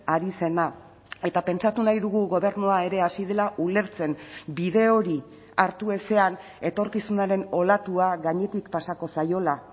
ari zena eta pentsatu nahi dugu gobernua ere hasi dela ulertzen bide hori hartu ezean etorkizunaren olatua gainetik pasako zaiola